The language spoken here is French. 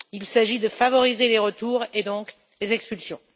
Il s'agit de favoriser les retours et donc les expulsions.